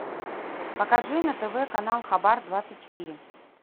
покажи на тв канал хабар двадцать четыре